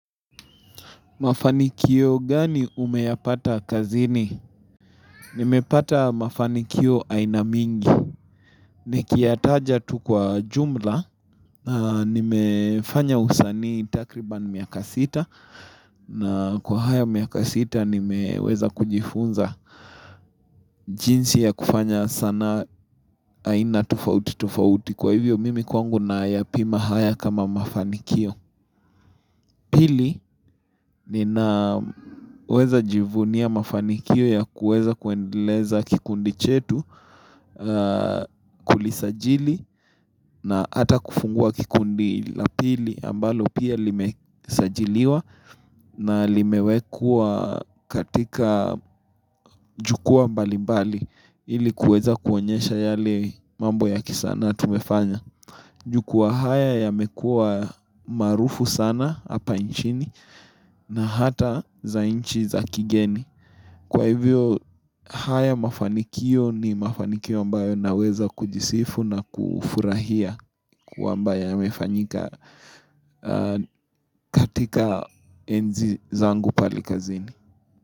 Mafanikio gani umeyapata kazini? Nimepata mafanikio aina mingi. Nikiyataja tu kwa jumla, nimefanya usanii takribani miaka sita. Na kwa haya miaka sita, nimeweza kujifunza jinsi ya kufanya sanaa aina tofauti tofauti. Kwa hivyo, mimi kwangu na yapima haya kama mafanikio. Pili ni naweza jivunia mafanikio ya kuweza kuendeleza kikundi chetu kulisajili na hata kufungua kikundi la pili ambalo pia limesajiliwa na limewekwa katika jukua mbali mbali ili kuweza kuonyesha yale mambo ya kisanaa tumefanya. Jukua haya yamekuwa maarufu sana hapa nchini na hata za nchi za kigeni. Kwa hivyo haya mafanikio ni mafanikio ambayo naweza kujisifu na kufurahia kwa ambayo ya mefanyika katika enzi zangu pale kazini.